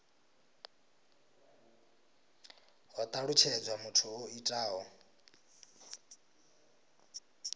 ho talutshedzwa muthu o itaho